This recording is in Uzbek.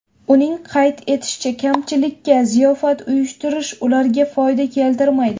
Uning qayd etishicha, kamchilikka ziyofat uyushtirish ularga foyda keltirmaydi.